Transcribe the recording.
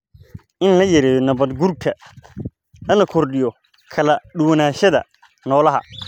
in la yareeyo nabaad guurka, lana kordhiyo kala duwanaanshaha noolaha.